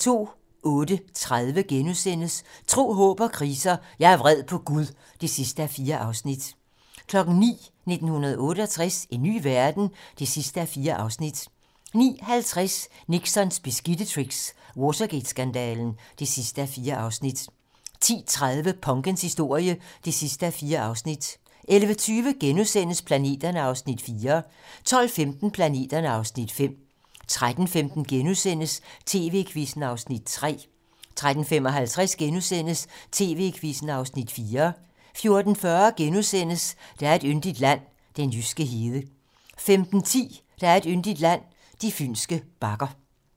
08:30: Tro, håb & kriser: Jeg er vred på Gud (4:4)* 09:00: 1968 - en ny verden? (4:4) 09:50: Nixons beskidte tricks - Watergate-skandalen (4:4) 10:30: Punkens historie (4:4) 11:20: Planeterne (Afs. 4)* 12:15: Planeterne (Afs. 5) 13:15: TV-Quizzen (Afs. 3)* 13:55: TV-Quizzen (Afs. 4)* 14:40: Der er et yndigt land - den jyske hede * 15:10: Der er et yndigt land - de fynske bakker